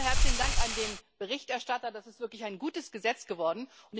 Zunächst mal herzlichen Dank an den Berichterstatter Das ist wirklich ein gutes Gesetz geworden.